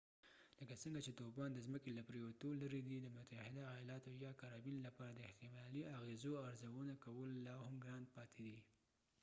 لکه څنګه چې طوفان د ځمکې له پريوتو لرې دی د متحده ایالاتو یا کارابین لپاره د احتمالي اغیزو ارزونه کول لاهم ګران پاتې دي